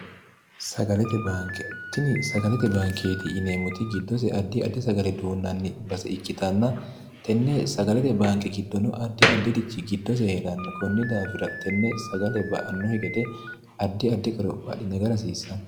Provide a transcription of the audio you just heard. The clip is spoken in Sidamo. lntini sagalete baankeeti yineemmoti giddose addi addi sagale duunnanni base ikkitanna tenne sagalete baanke giddono addi addi'richi giddose hee'ranno kunni daafira tenne sagale ba annohi gede addi addi qorophaadhi naga rasiissanno